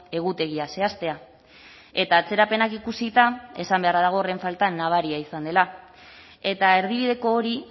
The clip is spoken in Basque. egutegia zehaztea eta atzerapenak ikusita esan beharra dago horren falta nabaria izan dela eta erdibideko hori